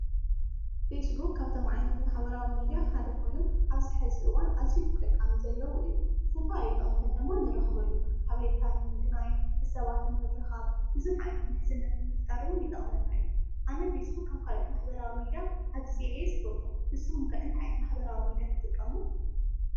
ፌስ ቡክ ካብቶም ዓይነት ማሕበራዊ ሚድያ ሓደ እዩ። ንስኹም እንታይ ዓይነት ትጥቀሙ?